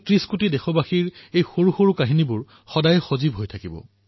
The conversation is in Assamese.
১৩০ কোটি দেশবাসীৰ এই সৰু সৰু কাহিনীসমূহ সদায়েই জীৱিত হৈ থাকিব